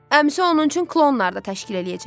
Əmisi onun üçün klonlar da təşkil eləyəcək.